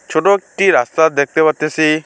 ছোট একটি রাস্তা দেখতে পারতেসি।